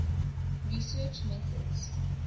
research methods